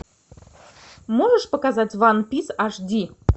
можешь показать ван пис аш ди